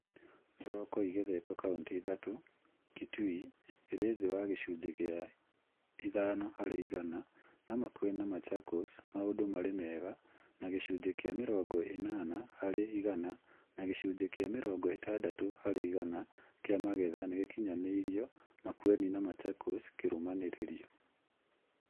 Thoroko igethetwo kauntĩ ithatũ, Kitui ĩrĩ thĩ wa gĩcunjĩ gĩa ithano harĩ igana no Makueni na Machakos maũndũ marĩ mega na gĩcunjĩ kĩa mĩrongo ĩnana harĩ igana na gĩcunjĩ kĩa mĩrongo ĩtandatũ harĩ igana kĩa magetha nĩgĩakinyanĩirio Makueni na Machakos kĩrũmanĩrĩrio